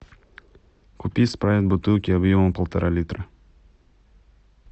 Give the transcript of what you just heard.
купи спрайт в бутылке объемом полтора литра